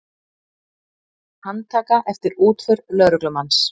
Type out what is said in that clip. Handtaka eftir útför lögreglumanns